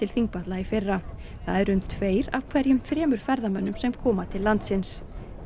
Þingvelli í fyrra það eru um tveir af hverjum þremur ferðamönnum sem koma til landsins